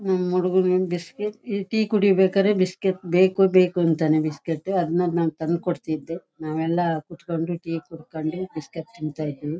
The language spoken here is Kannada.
ನಮ್ಮ ಹುಡುಗನ್ನ ಬಿಸ್ಕತ್ ಇಲ್ಲಿ ಟೀ ಕುಡಿಬೇಕಾದ್ರೆ ಬಿಸ್ಕತ್ ಬೇಕು ಬೇಕು ಅಂತಾನೆ ಬಿಸ್ಕತ್ ತಂದುಕೊಡತ್ತಿದೆ ನಾವೆಲ್ಲ ಕೂತ್ಕೊಂಡು ಟೀ ಕುಡಕೊಂಡು ಬಿಸ್ಕತ್ ತಿನ್ನತಾ ಇದ್ವಿ .